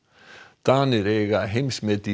Danir eiga heimsmet í